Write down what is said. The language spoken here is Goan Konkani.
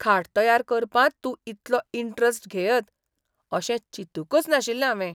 खाट तयार करपांत तूं इतलो इंटरेस्ट घेयत अशें चिंतूकच नाशिल्लें हावें.